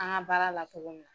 An ka baara la cogo min